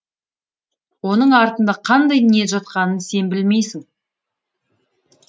оның артында қандай ниет жатқанын сен білмейсің